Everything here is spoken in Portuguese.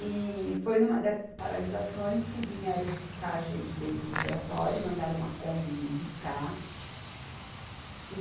E foi numa dessas paralisações que vieram buscar a gente dentro do Oratório, mandaram uma Kombi vim buscar.